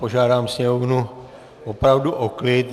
Požádám Sněmovnu opravdu o klid.